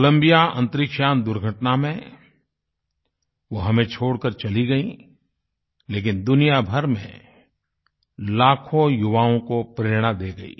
Colombia अन्तरिक्षयान दुर्घटना में वो हमें छोड़ कर चली गयीं लेकिन दुनिया भर में लाखों युवाओं को प्रेरणा दे गयी